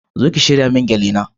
Zo ki shirya min gele na